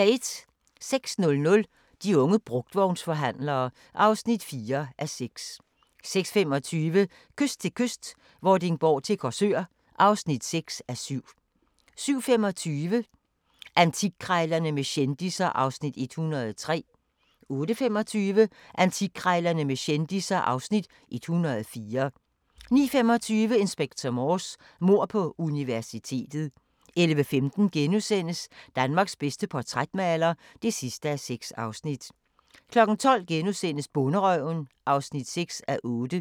06:00: De unge brugtvognsforhandlere (4:6) 06:25: Kyst til kyst - Vordingborg til Korsør (6:7) 07:25: Antikkrejlerne med kendisser (Afs. 103) 08:25: Antikkrejlerne med kendisser (Afs. 104) 09:25: Inspector Morse: Mord på universitetet 11:15: Danmarks bedste portrætmaler (6:6)* 12:00: Bonderøven (6:8)*